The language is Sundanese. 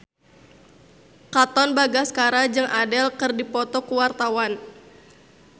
Katon Bagaskara jeung Adele keur dipoto ku wartawan